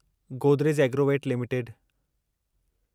Godrej Agrovet limited